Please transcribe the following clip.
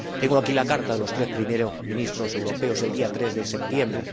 Tengo aquí la carta de los tres Primeros Ministros europeos del día 3 de septiembre.